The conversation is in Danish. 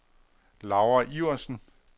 Laura Iversen